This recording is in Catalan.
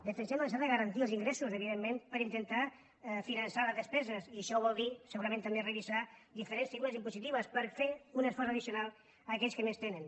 necessitem la necessitat de garantir els ingressos evidentment per intentar finançar les despeses i això vol dir segurament també revisar diferents figures impositives per fer un esforç addicional aquells que més tenen